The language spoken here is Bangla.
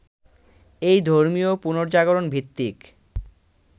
এই ধর্মীয় পুনর্জাগরণভিত্তিক